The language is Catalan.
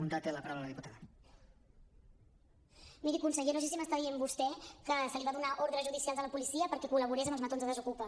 miri conseller no sé si m’està dient que se li van donar ordres judicials a la policia perquè col·laborés amb els matons de desokupa